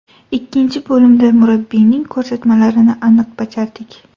Ikkinchi bo‘limda murabbiyning ko‘rsatmalarini aniq bajardik.